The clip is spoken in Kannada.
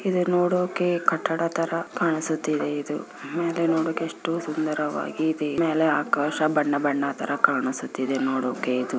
ಇದು ನೋಡೋಕೆ ಕಟ್ಟಡ ತರ ಕಾಣಿಸುತ್ತಿದೆ ಇದು ಮೇಲೆ ನೋಡೋಕೆ ಎಷ್ಟು ಸುಂದರವಾಗಿ ಇದೆ ಇದು ಮೇಲೆ ಆಕಾಶ ಬಣ್ಣ ಬಣ್ಣ ತರ ಕಾಣಿಸುತ್ತಿದೆ ನೋಡೋಕೆ ಇದು.